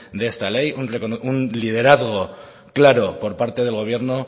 de esta ley un liderazgo claro por parte del gobierno